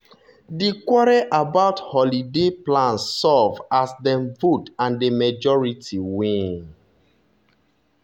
di quarrel about holiday plan solve as dem vote and the majority win.